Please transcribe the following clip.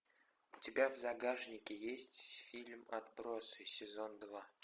у тебя в загашнике есть фильм отбросы сезон два